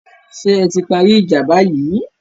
Ṣé ẹ ti parí ìjà báyìí?